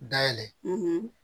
Dayɛlɛ